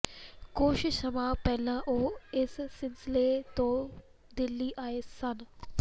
ਕੁੱਝ ਸਮਾਂ ਪਹਿਲਾਂ ਉਹ ਇਸ ਸਿਲਸਿਲੇ ਤੋਂ ਦਿੱਲੀ ਆਏ ਸਨ